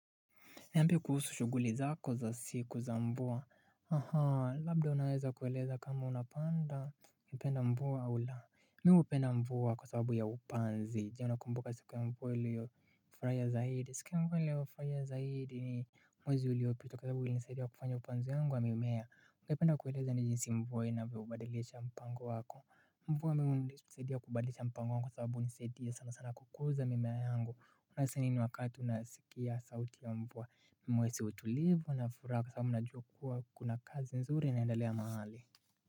Niambie kuhusu shuguli zako za siku za mvua? Ahaa. Labda unaweza kueleza kama unapanda. Unapenda mvua au la. Mi hupenda mvua kwa sababu ya upanzi. Je unakumbuka siku ya mvua liyo. Uliyofurahia zaidi. Siku ya mvua niliyofurahia ni mwezi uliopita Kwa sababu ilinisaidia kufanya upanzi wangu wa mimea. Ungependa kueleza ni jinsi mvua inavyoweza kubadilisha mpango wako. Mvua mimi hunisaidia kubadilisha mpango wangu. Kwa sababu hunisaidia sana sana kukuza mimea yangu. Unahisi nini wakati unasikia sauti ya mvua? Mimi nahisi utulivu na furaha kwa sababu najua kuwa kuna kazi nzuri inaendalea mahali.